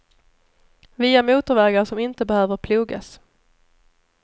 Via motorvägar som inte behöver plogas.